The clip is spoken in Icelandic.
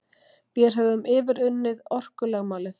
Vér höfum yfirunnið orkulögmálið.